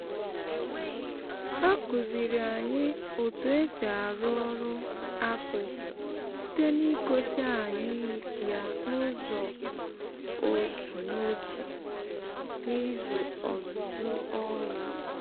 ha kụziri anyị otu esi arụ ọrụ akpụ site n’ịgosi anyị ya n’ụzọ otu n’otu n’izu ọzụzụ ọrụ.